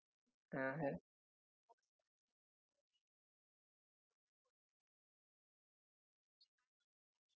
हा नमस्कार sir मी मृणाल बोलतेय amazon वरुन, मी तुमची काय मदत करू शकते?